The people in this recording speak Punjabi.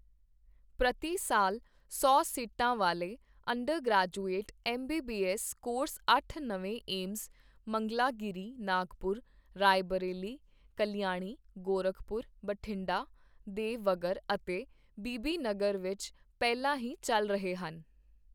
ਪ੍ਰਤੀ ਸਾਲ ਸੌ ਸੀਟਾਂ ਵਾਲੇ undergraduate M B B S course ਅੱਠ ਨਵੇਂ ਏਮਜ਼ ਮੰਗਲਾਗੀਰੀ, ਨਾਗਪੁਰ, ਰਾਏਬਰੇਲੀ, ਕਲਿਆਣੀ, ਗੋਰਖਪੁਰ, ਬਠਿੰਡਾ, ਦੇ ਵਘਰ ਅਤੇ ਬੀਬੀਨਗਰ ਵਿੱਚ ਪਹਿਲਾਂ ਹੀ ਚੱਲ ਰਹੇ ਹਨ।